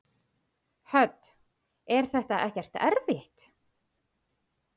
Hödd: Er þetta ekkert erfitt?